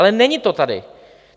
Ale není to tady.